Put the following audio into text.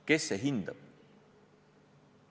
Kes see hindab?